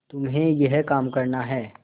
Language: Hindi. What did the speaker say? तुम्हें यह काम करना है